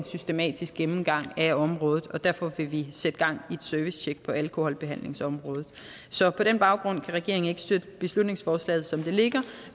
systematisk gennemgang af området og derfor vil vi sætte gang i et servicetjek på alkoholbehandlingsområdet så på den baggrund kan regeringen ikke støtte beslutningsforslaget som det ligger